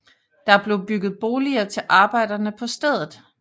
Der blev bygget boliger til arbejderne på stedet